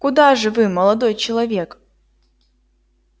куда же вы молодой человек